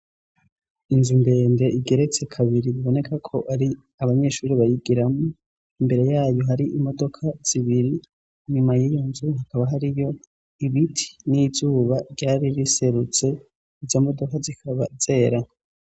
Inzu ndende igeretse kabiri biboneka ko ari abanyeshuri bayigiramwo, imbere yayo hari imodoka zibiri, inyuma y'iyonzu hakaba hariyo ibiti n'izuba ryari riserutse, izo modoka zikaba zera.